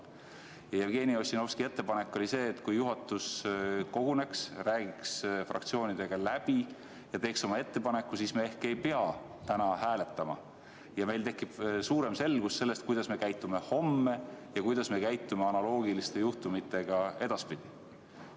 Jevgeni Ossinovski ettepanek oli see, et kui juhatus koguneks, räägiks fraktsioonidega läbi ja teeks oma ettepaneku, siis me ehk ei peaks täna hääletama ja meil tekiks suurem selgus selles, kuidas me käitume homme ja kuidas me käitume analoogiliste juhtumite korral edaspidi.